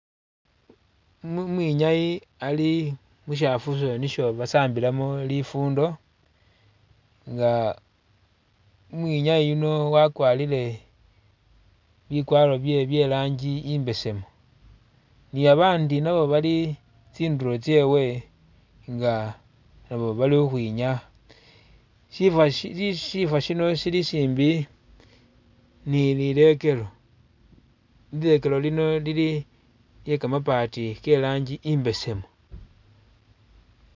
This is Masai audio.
Umwinyayi ali mushafuso nisho basambilamo lifundo nga umwinyayi yuno wakwalire bikwaro'bye bye'rangi i'mbesemu ni babandi nabo bali tsindulo tsyewe nga nabo bali ukhwinyaya shifa shino shi shilishimbi ni lilekelo, lilekelo lino lili lyekamabati ke'rangi i'mbesemu